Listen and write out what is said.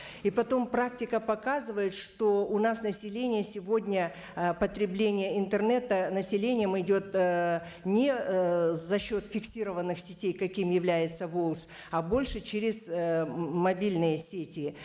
и потом практика показывает что у нас население сегодня ы потребление интернета населением идет ыыы не ыыы за счет фиксированных сетей каким является волс а больше через ыыы мобильные сети